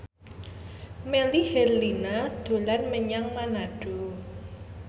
Melly Herlina dolan menyang Manado